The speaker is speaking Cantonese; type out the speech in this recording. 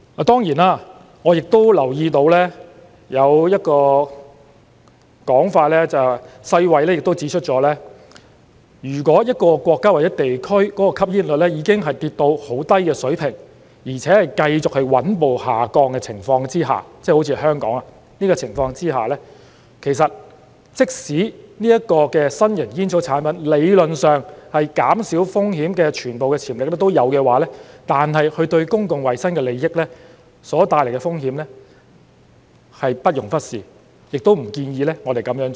當然，我亦留意到有一個說法是，世衞亦指出了如果一個國家或地區的吸煙率已經跌至很低水平，而且在繼續穩步下降的情況之下——即好像香港的情況——即使新型煙草產品理論上減少風險的全部潛力都有的話，但它對公共衞生利益所帶來的風險是不容忽視的，亦不建議我們這樣做。